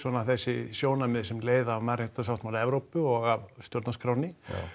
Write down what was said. þessi sjónarmið sem leiða af mannréttindasáttmála Evrópu og af stjórnarskránni